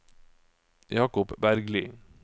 Jakob Bergli